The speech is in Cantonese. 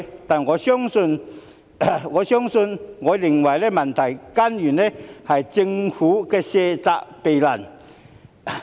但是，我認為問題的根源是政府卸責避難。